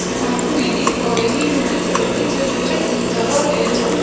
यहाँ पे मैं देख पा रही हूँ एक सड़क दिख दिख रहा है --